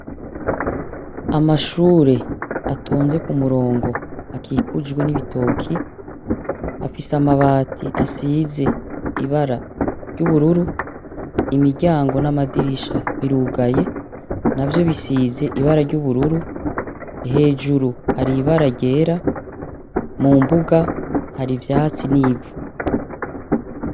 Amashure atonze k'umurongo akikujwe n'ibitoki, afise amabati asize ibara ry'ubururu, imiryango n'amadirisha birugaye, navyo bisize ibara ry'ubururu, hejuru hari ibara ryera, mumbuga hari ivyatsi n'ivu.